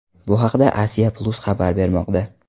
Bu haqda Asia Plus xabar bermoqda .